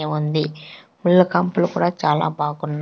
ఎ ఉంది ముల్లకంపలు కూడా చాలా బాగున్నా--